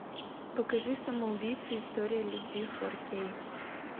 покажи самоубийцы история любви фор кей